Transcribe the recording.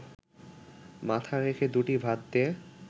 মাথা রেখে দুটি ভাত দে